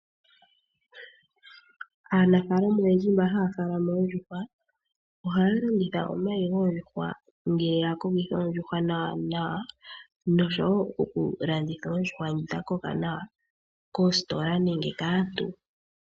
Aanafalama oyendji mba haya tekula oondjuhwa ohaya landitha omayi goondjuhwa ngele ya kokitha oondjuhwa nawa nawa noshowo okulanditha oondjuhwa dha koka nawa koositola nenge kaantu.